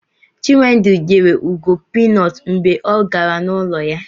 Chinwendu nyere Ugo pinut mgbe ọ gara n'ụlọ ya